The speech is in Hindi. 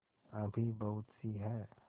अभी बहुतसी हैं